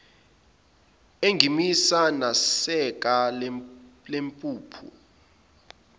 engimisa nesaka lempuphu